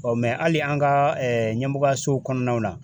hali an ka ɲɛmɔgɔyasow kɔnɔnaw la.